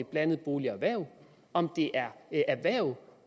blandede boliger og erhverv om det er til erhverv